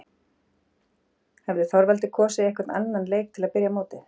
Hefði Þorvaldur kosið einhvern annan leik til að byrja mótið?